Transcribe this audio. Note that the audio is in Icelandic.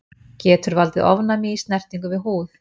Getur valdið ofnæmi í snertingu við húð.